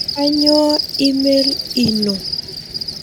Kanyioo email ino?